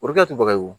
O de kɛ ti bali wo